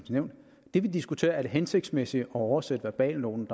nævn det vi diskuterer er er det hensigtsmæssigt at oversætte verbalnoten